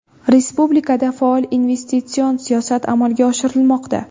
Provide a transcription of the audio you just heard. Respublikada faol investitsion siyosat amalga oshirilmoqda.